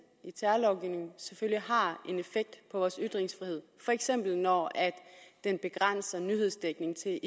i terrorlovgivningen selvfølgelig har en effekt på vores ytringsfrihed for eksempel når den begrænser nyhedsdækningen til